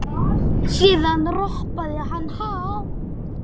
Síðan ropaði hann hátt.